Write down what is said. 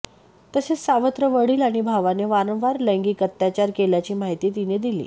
तसेच सावत्र वडील आणि भावाने वारंवार लैगिक अत्याचार केल्याची माहिती तिने दिले